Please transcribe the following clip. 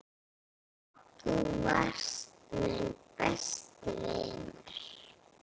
Þú varst minn besti vinur.